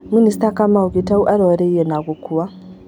Mĩnĩsta Kamau :"Gitau arorire na gũkua'